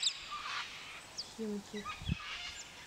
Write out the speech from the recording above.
химки